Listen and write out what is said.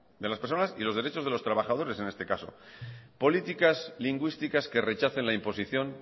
de las personas y los derechos de los trabajadores en este caso políticas lingüísticas que rechacen la imposición